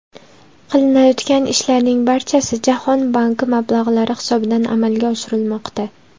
Qilinayotgan ishlarning barchasi Jahon banki mablag‘lari hisobidan amalga oshirilmoqda.